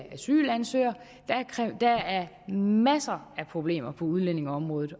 asylansøgere der er masser af problemer på udlændingeområdet